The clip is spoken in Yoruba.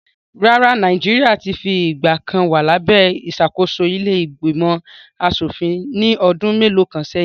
Rárá o, Nàìjíríà ti fìgbà kan wa labe ìṣàkóso ilé ìgbìmọ̀ aṣòfin ní ọdún mélòó kan sẹ́yìn